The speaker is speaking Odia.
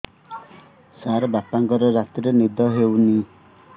ସାର ବାପାଙ୍କର ରାତିରେ ନିଦ ହଉନି